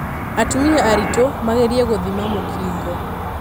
Atumia aritũ magerie gũthima mũkingo.